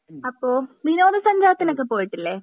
അപ്പൊ വിനോദ സഞ്ചാരത്തിനൊക്കെ പോയിട്ടില്ല